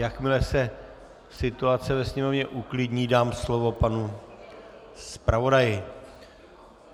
Jakmile se situace ve sněmovně uklidní, dám slovo panu zpravodaji.